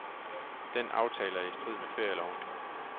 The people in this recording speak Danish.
Den aftale er i strid med ferieloven.